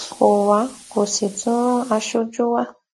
kò wá kó sì tún ran aṣojú wa